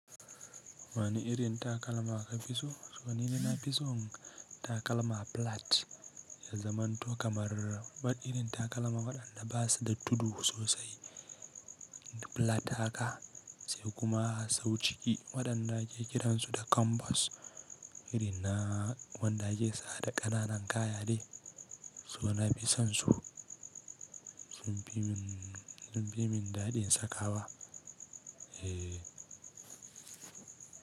Wani irin takalma ka fi so? Saboda ni na fi son takalma plat, ya zamanto kamar wani irin takalma waɗanda ba su da tudu sosai. Plat haka sai kuma sau ciki waɗanda ake kiransu da canvas irin na wanda ake sa da ƙananan kaya ne, so na fi son su. Sun fi min, sun fi min daɗin sakawa. Eh.